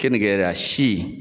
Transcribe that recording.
Keninke yɛrɛ a si.